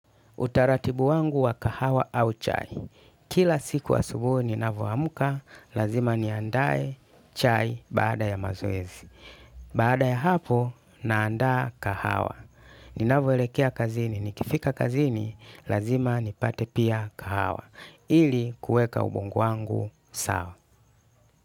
Utaratibu wangu wa kahawa au chai. Kila siku wa asubuhi ninavyo amka, lazima ni andae chai baada ya mazoezi. Baada ya hapo, naandaa kahawa. Ninavyo elekea kazini, nikifika kazini, lazima ni pate pia kahawa. Ili kueka ubongu wangu sawa.